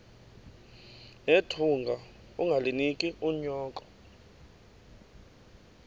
nethunga ungalinik unyoko